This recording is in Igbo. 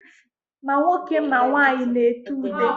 Ma nwoke ma nwaanyị na-ete ude.